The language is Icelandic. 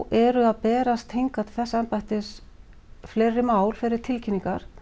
eru að berast hingað til þessa embættis fleiri mál fleiri tilkynningar